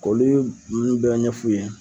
Olu ye nunnu bɛ ɲɛf'u ye.